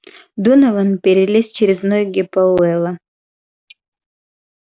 донован перелез через ноги пауэлла